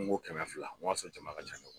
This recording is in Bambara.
N ko kɛmɛ fila n ko y'a sɔrɔ jama ka jan